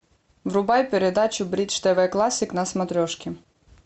врубай передачу бридж тв классик на смотрешке